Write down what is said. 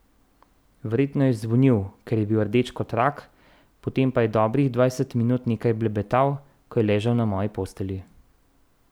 Verjetno je zvonil, ker je bil rdeč kot rak, potem pa je dobrih dvajset minut nekaj blebetal, ko je ležal na moji postelji.